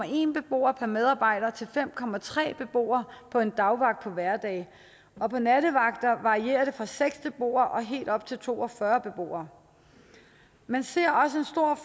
en beboer per medarbejder til fem beboere på en dagvagt på hverdage og på nattevagter varierer det fra seks beboere og helt op til to og fyrre beboere man ser